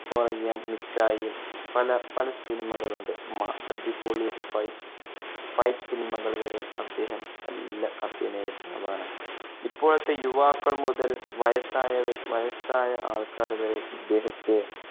ഇപ്പൊ അറിയാം മിക്ക, പല പല സിനിമകളുണ്ട് മ~അടിപൊളി fightfight സിനിമകൾ വരെ അദ്ദേഹം നല്ല അഭിനേതാവാണ്. ഇപ്പോഴത്തെ യുവാക്കൾ മുതൽ വയസ്സായവർ, വയസ്സായ ആൾക്കാർ വരെ ഇദ്ദേഹത്തെ